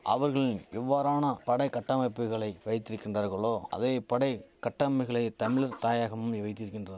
அவர்களின் எவ்வாறான படை கட்டமைப்புகளை வைத்திருக்கின்றார்களோ அதே படை கட்டமைகளை தமிழர் தாயகமும் வைத்திருக்கின்ற